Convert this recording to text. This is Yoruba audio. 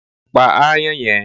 Pa aáyán yẹn!